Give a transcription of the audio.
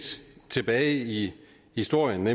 tilbage i historien